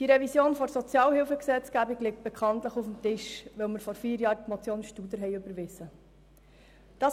Die Revision der Sozialhilfegesetzgebung liegt bekanntlich auf dem Tisch, weil wir vor vier Jahren die Motion Studer überwiesen haben.